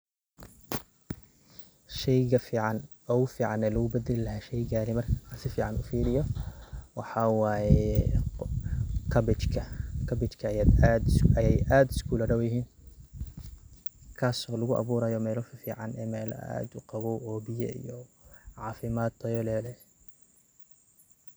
Sheyga fican ogufican walagubadali lahay sheyga an sifican ufiriyo, waxa waye cabbage ayay aad iskuladowyixin, kaas oo laguaburayo mela fican ee mela aad ugawow oo biya iyo cafimad tayo leh.